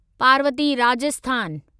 Parvati Rajasthan